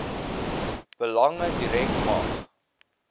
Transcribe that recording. belange direk mag